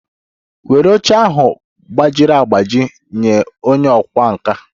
Were oche ahụ gbajiri agbaji nye onye ọkwá nkà!